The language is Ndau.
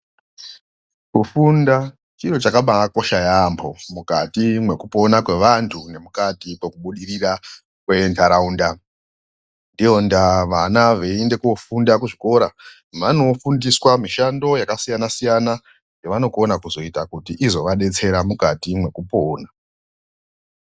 Kufunda chiro chakabaakosha yaamho mukati mwekupona kweantu ngemukati mwekubudirira kwenharaunda. Ndiyo ndaa vana zveiende koofunda kuchikora. Vanofundiswa mishando yakasiyana siyana yavonokona kuita kuti inozovadetsera mukati mwekupona.